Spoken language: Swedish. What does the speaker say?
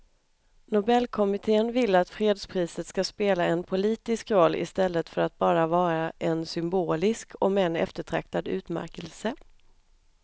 Nobelkommittén vill att fredspriset ska spela en politisk roll i stället för att bara vara en symbolisk om än eftertraktad utmärkelse.